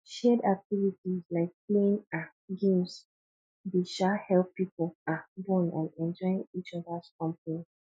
shared activities like playing um games dey um help people um bond and enjoy each others company